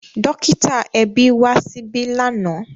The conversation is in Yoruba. Dọ́kítà ẹbí wá síbí lánàá.